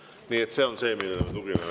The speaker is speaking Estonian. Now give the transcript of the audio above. Nii et see on see, millele me tugineme.